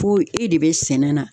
Fo e de be sɛnɛ na